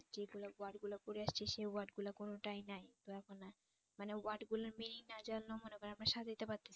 যে গুলো word গুলো পড়ে আসছি সে word গুলা কোনটাই নাই তো এখন মানে word গুলার meaning না জানলেও মনে করেন আমারা সাজাইতে পারতেছি